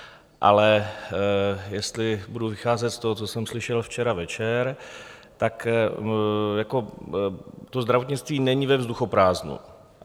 Ale jestli budu vycházet z toho, co jsem slyšel včera večer, tak to zdravotnictví není ve vzduchoprázdnu.